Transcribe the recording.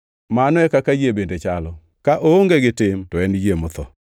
Mano e kaka yie bende chalo: ka oonge gi tim to en yie motho.